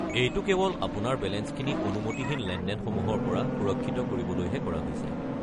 -এইটো কেৱল আপোনাৰ বেলেঞ্চখিনি অনুমতিহীন লেনদেনসমূহৰ পৰা সুৰক্ষিত কৰিবলৈহে কৰা হৈছে।